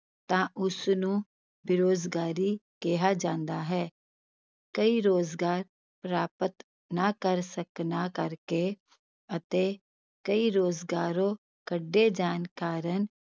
ਤਾਂ ਉਸ ਨੂੰ ਬੇਰੁਜ਼ਗਾਰੀ ਕਿਹਾ ਜਾਂਦਾ ਹੈ, ਕਈ ਰੁਜ਼ਗਾਰ ਪ੍ਰਾਪਤ ਨਾ ਕਰ ਸਕਣਾ ਕਰਕੇ ਅਤੇ ਕਈ ਰੁਜ਼ਗਾਰੋਂ ਕੱਢੇ ਜਾਣ ਕਾਰਨ